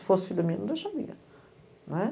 Se fosse filha minha, não deixaria, né?